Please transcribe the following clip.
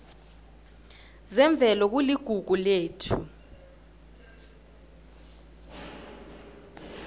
zemvelo kuligugu lethu